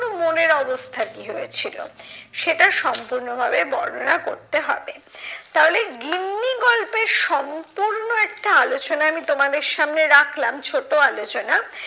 মনের অবস্থা কি হয়েছিল, সেটা সম্পূর্ণভাবে বর্ণনা করতে হবে। তাহলে গিন্নি গল্পের সম্পূর্ণ একটা আলোচনা আমি তোমাদের সামনে রাখলাম ছোট আলোচনা